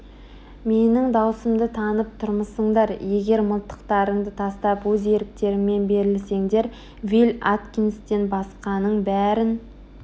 менің даусымды танып тұрмысыңдар егер мылтықтарыңды тастап өз еріктеріңмен берілсеңдер вилль аткинстен басқаның бәрін